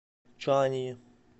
чанъи